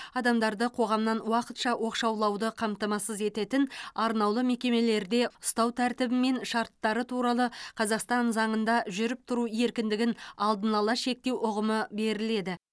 адамдарды қоғамнан уақытша оқшаулауды қамтамасыз ететін арнаулы мекемелерде ұстау тәртібі мен шарттары туралы қазақстан заңында жүріп тұру еркіндігін алдын ала шектеу ұғымы беріледі